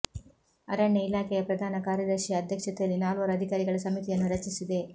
ಅರಣ್ಯ ಇಲಾಖೆಯ ಪ್ರಧಾನ ಕಾರ್ಯದರ್ಶಿ ಅಧ್ಯಕ್ಷತೆಯಲ್ಲಿ ನಾಲ್ವರು ಅಧಿಕಾರಿಗಳ ಸಮಿತಿಯನ್ನು ರಚಿಸಿದೆ